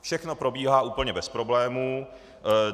Všechno probíhá úplně bez problémů.